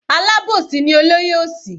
Alábòsí ni olóyè òsì.